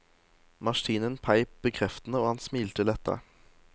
Maskinen peip bekreftende, og han smilte letta.